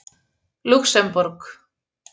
Lúxemborg